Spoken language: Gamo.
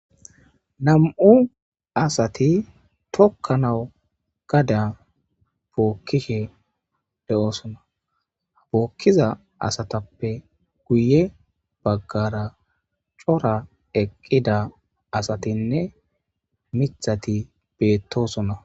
nam7u asati tokkanawu gada bookkishe de7oosona habookkiza asatappe guye baggara cora eqqida asatinne mithati beettosona